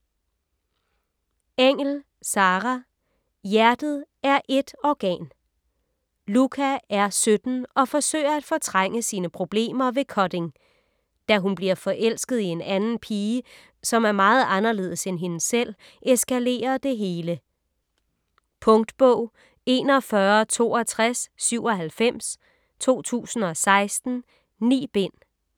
Engell, Sarah: Hjertet er 1 organ Lucca er 17 og forsøger at fortrænge sine problemer ved cutting. Da hun bliver forelsket i en anden pige, som er meget anderledes end hende selv, eskalerer det hele. Punktbog 416297 2016. 9 bind.